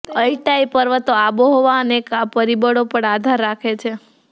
Altai પર્વતો આબોહવા અનેક પરિબળો પર આધાર રાખે છે